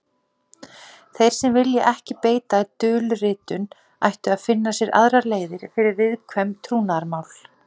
Þeir sem vilja ekki beita dulritun ættu að finna sér aðrar leiðir fyrir viðkvæm trúnaðarmál.